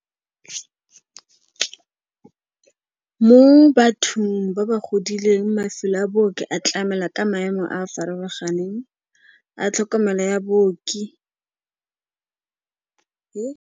Mo bathong ba ba godileng mafelo a booki a tlamela ka maemo a a farologaneng, a tlhokomelo ya booki .